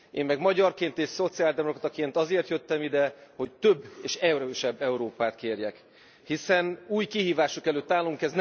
Én meg magyarként és szociáldemokrataként azért jöttem ide, hogy több és erősebb Európát kérjek, hiszen új kihívások előtt állunk.